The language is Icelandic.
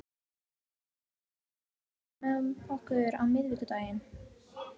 Gídeon, ferð þú með okkur á miðvikudaginn?